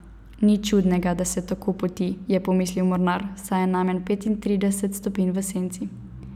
Nič čudnega, da se tako poti, je pomislil mornar, saj je najmanj petintrideset stopinj v senci.